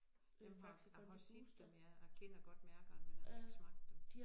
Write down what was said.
Dem har jeg har set dem ja jeg kender godt mærkerne men jeg har ikke smagt dem